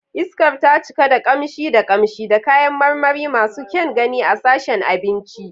Iskar ta cika da kamshi da kamshi da kayan marmari masu kyan gani a sashen abinci.